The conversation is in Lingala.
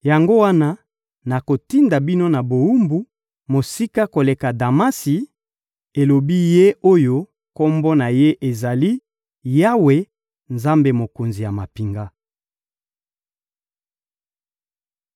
Yango wana nakotinda bino na bowumbu, mosika koleka Damasi, elobi Ye oyo Kombo na Ye ezali: Yawe, Nzambe Mokonzi ya mampinga.